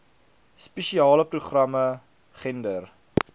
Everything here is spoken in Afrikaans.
spesiale programme gender